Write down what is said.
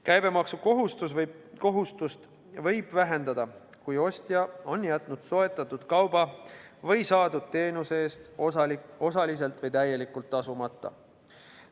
Käibemaksukohustust võib vähendada, kui ostja on jätnud soetatud kauba või saadud teenuse eest osaliselt või täielikult tasumata.